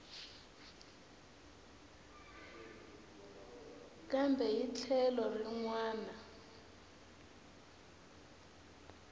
kambe hi tlhelo rin wana